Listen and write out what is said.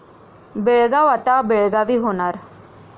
बेळगाव' आता 'बेळगावी' होणार